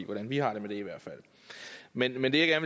hvordan vi har det med det men det jeg